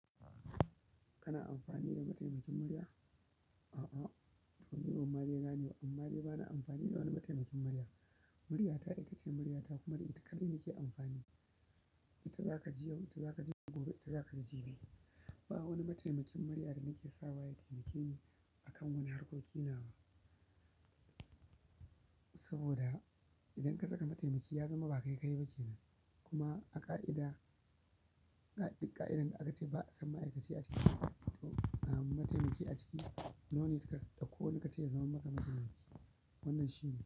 Kana amfani da mataimakin murya? A'a, to ni Omalena ne, amma bana amfani da wani mataimakin murya. Muryata ita ce muryata kuma ita kaɗai nake amfani. Ita za ka ji yau, ita za ka ji gobe, ita za ka ji jibi. Ba wani mataimakin murya da nake sawa ya taimake ni a kan wani harkokin nawa. Saboda idan ka saka mataimaki ya zama ba kai kayi ba kenan. Kuma a ƙa'ida, ƙa'idar da aka ce ba sama aikaci a can mataimaki a ciki, no need ka ɗauko wani ka ce ya zama maka mataimaki. Wannan shi ne.